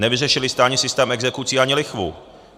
Nevyřešili jste ani systém exekucí ani lichvu.